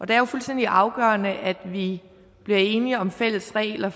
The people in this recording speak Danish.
det er jo fuldstændig afgørende at vi bliver enige om fælles regler